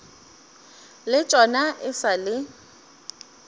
le tšona e sa le